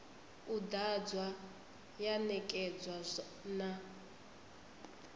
u ḓadzwa ya ṋekedzwa na